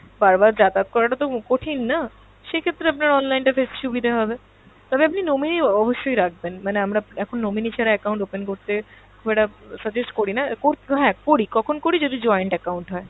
বার বার যাতায়াত করাটা তো কঠিন না, সেক্ষেত্রে আপনার online টা বেশ সুবিধা হবে, তবে আপনি nominee অবশ্যই রাখবেন মানে আমরা এখন nominee ছাড়া account open করতে খুব একটা suggest করিনা, কোর~ হ্যাঁ করি, কখন করি যদি joint account হয়